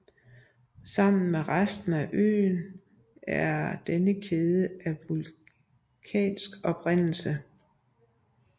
Sammen med resten af øen er denne kæde af vulkansk oprindelse